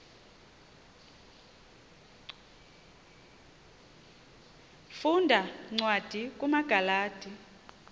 funda cwadi kumagalati